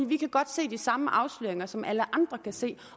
vi kan godt se de samme afsløringer som alle andre kan se